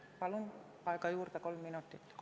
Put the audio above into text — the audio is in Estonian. " Palun aega juurde kolm minutit!